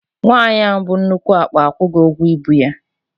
Nwaanyi ahụ bu nnukwu akpa akwụghi ụgwọ ibu ya.